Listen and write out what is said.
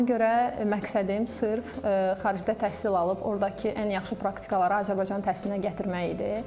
Ona görə məqsədim sırf xaricdə təhsil alıb, ordakı ən yaxşı praktikaları Azərbaycan təhsilinə gətirmək idi.